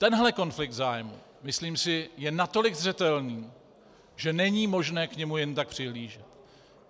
Tenhle konflikt zájmů, myslím si, je natolik zřetelný, že není možné k němu jen tak přihlížet.